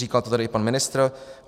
Říkal to tady i pan ministr.